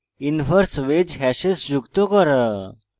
inverse wedge hashes যোগ করা